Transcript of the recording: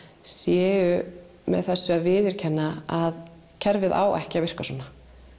séu með þessu að viðurkenna að kerfið á ekki að virka svona